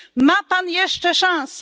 Ma Pan jeszcze szansę.